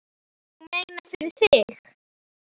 Ég meina, fyrir þig.